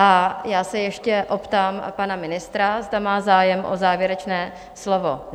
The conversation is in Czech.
A já se ještě optám pana ministra, zda má zájem o závěrečné slovo?